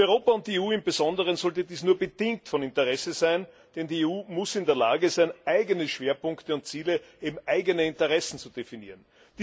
Für Europa und die EU im Besonderen sollte dies nur bedingt von Interesse sein, denn die EU muss in der Lage sein, eigene Schwerpunkte und Ziele, eben eigene Interessen, zu definieren.